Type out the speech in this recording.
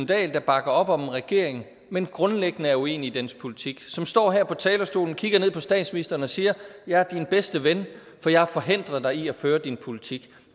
dahl der bakker op om en regering men grundlæggende er uenig i dens politik som står her på talerstolen og kigger ned på statsministeren og siger jeg er din bedste ven for jeg har forhindret dig i at føre din politik